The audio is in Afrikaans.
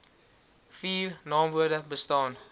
vier naamwoorde bestaan